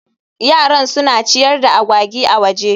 Yaran suna ciyar da agwagi a waje